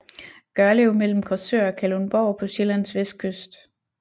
Gørlev mellem Korsør og Kalundborg på Sjællands vestkyst